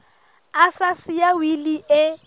a sa siya wili e